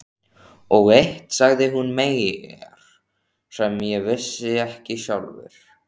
Og eitt sagði hún mér sem ég vissi ekki sjálfur.